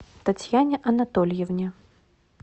татьяне анатольевне